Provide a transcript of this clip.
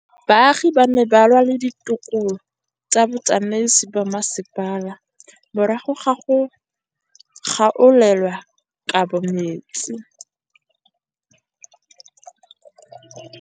Baagi ba ne ba lwa le ditokolo tsa botsamaisi ba mmasepala morago ga go gaolelwa kabo metsi.